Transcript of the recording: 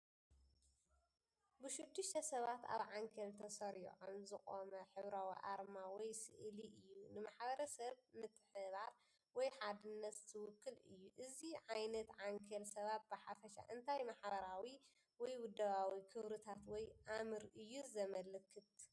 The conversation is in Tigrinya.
ብሽዱሽተ ሰባት ኣብ ዓንኬል ተሰሪዖም ዝቖመ ሕብራዊ ኣርማ ወይ ስእሊ እዩ። ንማሕበረሰብ፡ ምትሕብባር ወይ ሓድነት ዝውክል እዩ። እዚ ዓይነት ዓንኬል ሰባት ብሓፈሻ እንታይ ማሕበራዊ ወይ ውደባዊ ክብርታት ወይ ኣምር እዩ ዘመልክት?